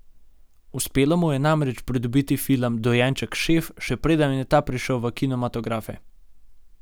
Uspelo mu je namreč pridobiti film Dojenček šef, še preden je ta prišel v kinematografe.